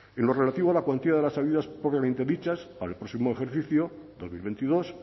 en lo relativo a la cuantía de las ayudas propiamente dichas para el próximo ejercicio dos mil veintidós